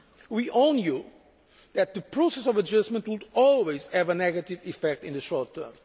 We all knew that the process of adjustment would always have a negative effect in the short term.